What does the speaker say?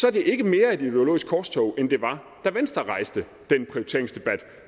er det ikke mere et ideologisk korstog end det var da venstre rejste den prioriteringsdebat